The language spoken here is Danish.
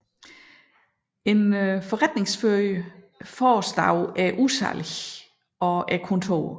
En forretningsfører forestod udsalget og kontoret